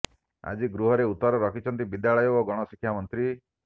ଆଜି ଗୃହରେ ଉତ୍ତର ରଖିଛନ୍ତି ବିଦ୍ୟାଳୟ ଓ ଗଣଶିକ୍ଷା ମନ୍ତ୍ରୀ